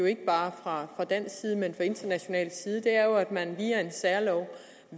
ikke bare fra dansk side men også international side er jo at man via en særlov